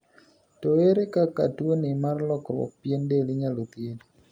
To ere kaka tuoni mar lokruok pien del inyalo thiethi?